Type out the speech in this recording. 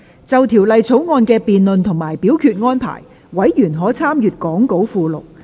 就《條例草案》的辯論及表決安排，委員可參閱講稿附錄。